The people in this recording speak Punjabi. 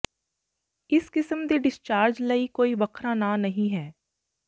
ਇਸ ਕਿਸਮ ਦੇ ਡਿਸਚਾਰਜ ਲਈ ਕੋਈ ਵੱਖਰਾ ਨਾਂ ਨਹੀਂ ਹੈ